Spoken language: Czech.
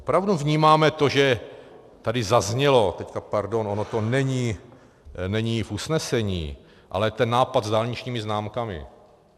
Opravdu vnímáme to, že tady zaznělo - teď pardon, ono to není v usnesení, ale ten nápad s dálničními známkami.